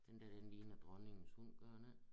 Den dér den ligner Dronningens hund gør den ik?